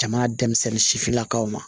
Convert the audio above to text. Jamana denmisɛnnin sifinnakaw ma